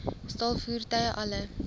staal voertuie alle